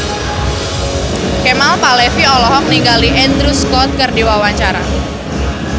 Kemal Palevi olohok ningali Andrew Scott keur diwawancara